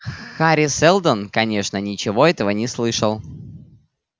хари сэлдон конечно ничего этого не слышал